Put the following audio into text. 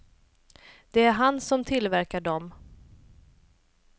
Det är han som tillverkar dom.